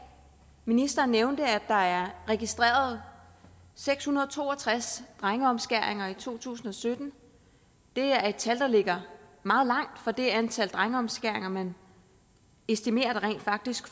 ministeren nævnte at der er registreret seks hundrede og to og tres drengeomskæringer i to tusind og sytten og det er et tal der ligger meget langt fra det antal drengeomskæringer man estimerer rent faktisk